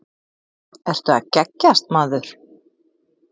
Ertu að geggjast maður?